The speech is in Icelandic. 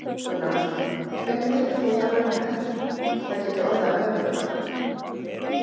Gunnar Atli: Hvenær telur þú það raunhæft að það geti orðið að veruleika?